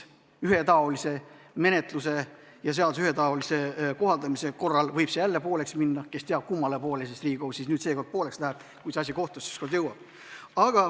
Ühetaolise menetluse ja seaduse ühetaolise kohaldamise korral võib see jälle pooleks minna ja kes teab, kummale poole Riigikohus seekord kaldub, kui see asi ükskord kohtusse jõuab.